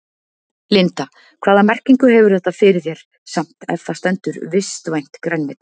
Linda: Hvaða merkingu hefur þetta fyrir þér samt ef það stendur vistvænt grænmeti?